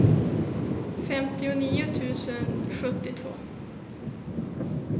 femtionio tusen sjuttiotvå